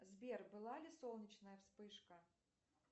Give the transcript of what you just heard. сбер была ли солнечная вспышка